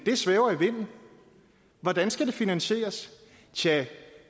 svæver i vinden hvordan skal det finansieres tjah